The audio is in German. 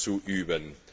zu üben.